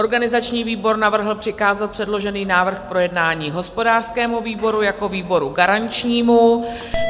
Organizační výbor navrhl přikázat předložený návrh k projednání hospodářskému výboru jako výboru garančnímu.